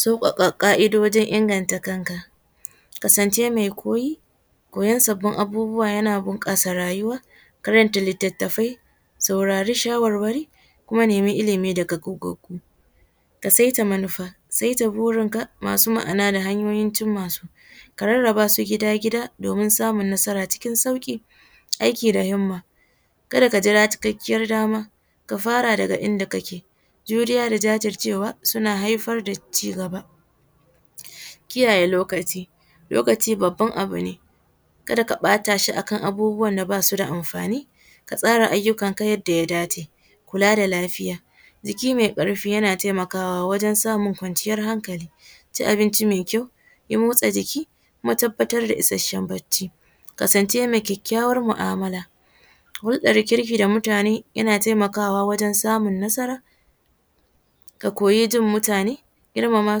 Saukaka ka’idojin inganta kanka, kasance mai koyi koyan sabbin abubuwa yana kara bunkasa rayuwa, karanta litattafai, raurari shawarwaro kuma nema ilimi daga goggagu, ka saita manufa, saita burinka masu ma’ana da hanyoyin cinma su, ka rarraba su gida-gida domin samun nasara cikin sauki, aiki da hinma kada ka jira cikakkiyar dam aka fara daga inda kake, juriya da jajircewa suna haifar da cigaba, kiyaye lokaci, lokaci babban abu ne kada ka bata shi akan abubuwan da basu da amfani, ka tsara ayyukan ku yadda ya dace, kula da lafiya jiki mai karfi yana taimakawa wajen samun kwanciyar hankali, ci abinci mai kyau, yi motsa jiki, kuma ka tabbatar da isashen bacci, kasance mai kyakyawan mu’amala, hulɗa da mutane yana taimakawa wajen samun nasara ka koyi jin mutane gairmama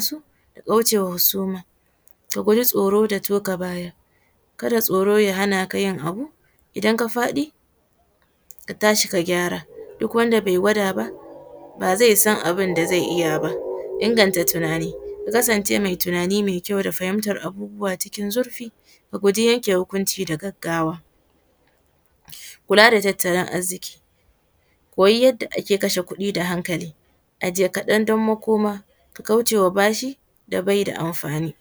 su da kaucewa husuma, ka guji tsoro da toka baya kada tsoro ya hana ka yin abu, idan ka faɗi ka tashi ka gyara, duk wanda bai gwada ba, ba zai san abunda zai iya ba, inganta tunani, ya kasance mai kyau da fahimtar abubuwa cikin zurfi, kuji yanke hukunci da gaggawa, kula da tattalin arziki, koyi yadda ake kasha kuɗi da hankali, ajiye kaɗan don makoma, ka kaushe wa bashi da bai da amfani.